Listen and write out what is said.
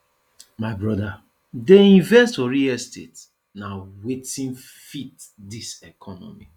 my broda dey invest for real estate na wetin fit dis economy